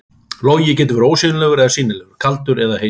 Logi getur verið ósýnilegur eða sýnilegur, kaldur eða heitur.